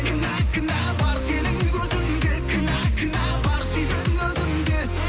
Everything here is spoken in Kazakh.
кінә кінә бар сенің көзіңде кінә кінә бар сүйген өзімде